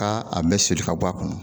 Taa a bɛ soli ka bɔ a kɔnɔ,